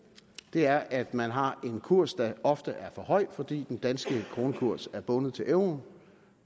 er at man har en kurs der ofte er for høj fordi den danske kronekurs er bundet til euroen